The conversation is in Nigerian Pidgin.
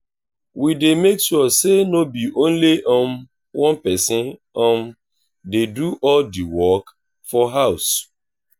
we dey make sure say no be only um one pesin um dey do all the work for house.